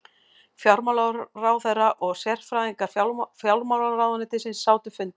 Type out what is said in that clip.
Fjármálaráðherra og sérfræðingar fjármálaráðuneytisins sátu fundinn